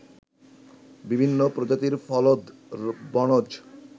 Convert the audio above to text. বিভিন্ন প্রজাতির ফলদ, বনজ